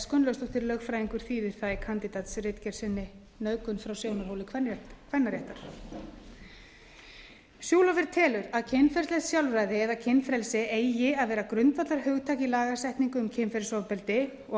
gunnlaugsdóttir lögfræðingur þýðir það í kandídatsritgerð sinni nauðgun frá sjónarhóli kvennaréttar schulhofer telur að kynferðislegt sjálfræði eða kynfrelsi eigi að vera grundvallarhugtak í lagasetningu um kynferðisofbeldi og að